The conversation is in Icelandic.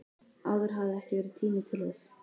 Áður hafði ekki verið tími til þess.